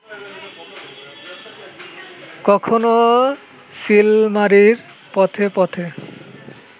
কখনো চিলমারির পথে পথে